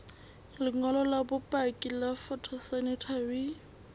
lengolo la bopaki la phytosanitary